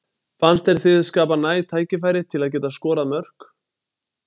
Fannst þér þið skapa næg tækifæri til að geta skorað mörk?